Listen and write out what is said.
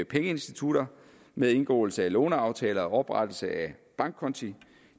pengeinstitutter ved indgåelse af låneaftaler eller oprettelse af bankkonti